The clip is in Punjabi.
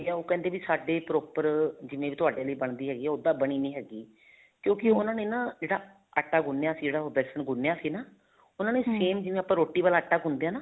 ਉਹ ਕਹਿੰਦੇ ਵੀ ਸਾਡੇ proper ਜਿਵੇਂ ਵੀ ਤੁਹਾਡੇ ਵਾਲੀ ਬਣਦੀ ਹੈਗੀ ਹੈ ਓਦਾਂ ਬਣੀ ਨਹੀਂ ਹੈਗੀ ਕਿਉਂਕਿ ਉਹਨਾ ਨੇ ਨਾ ਜਿਹੜਾ ਆਟਾ ਗੁੰਨਿਆ ਸੀ ਜਿਹੜਾ ਵੇਸਣ ਗੁੰਨਿਆ ਸੀ ਨਾ ਉਹਨਾ same ਜਿਵੇਂ ਆਪਾਂ ਰੋਟੀ ਵਾਲਾ ਆਟਾ ਗੁੰਨਦੇ ਹਾਂ ਨਾ